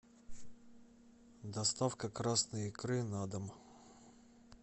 доставка красной икры на дом